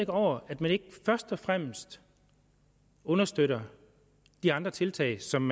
over at man ikke først og fremmest understøtter de andre tiltag som